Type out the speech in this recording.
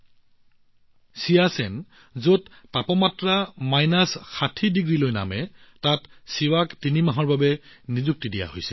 শিৱাক চিয়াচেনত তিনি মাহৰ বাবে ৰখা হব যত তাপমাত্ৰা বিয়োগ ষাঠি ৬০ ডিগ্ৰীলৈ হ্ৰাস পায়